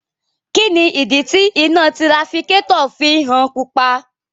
Kini idi ti ina tirafikatọ fi ń han pupa?